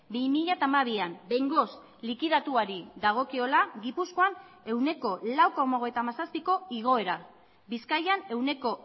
bi mila hamabian behingoz likidatuari dagokiola gipuzkoan ehuneko lau koma hogeita hamazazpiko igoera bizkaian ehuneko